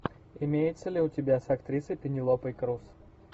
имеется ли у тебя с актрисой пенелопой крус